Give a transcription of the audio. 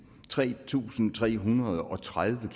tre tusind tre hundrede og tredive